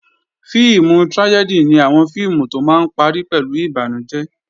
Fíìmù trájẹ́dì ni àwọn fíìmù tó máa ń parí pẹ̀lú ìbànújẹ́